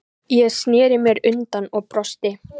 Ég sneri mér undan og brosti.